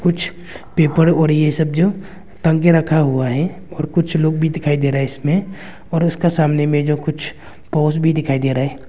कुछ पेपर और ये सब जो टांग के रखा हुआ है और कुछ लोग भी दिखाई दे रहे हैं इसमें और उसका सामने में जो कुछ पोश भी दिखाई दे रहा है।